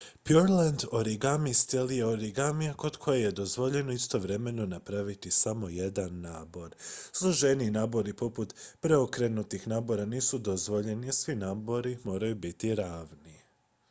pureland origami stil je origamija kod kojeg je dozvoljeno istovremeno napraviti samo jedan nabor složeniji nabori poput preokrenutih nabora nisu dozvoljeni a svi nabori moraju biti ravni